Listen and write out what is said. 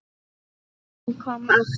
ÞEGAR HANN KOM AFTUR